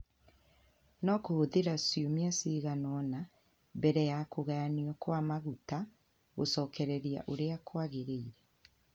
no kũhũthĩre ciumia cigana ũna mbere ya kũgayanio kwa maguta gũcokereria ũrĩa kwagĩrĩire".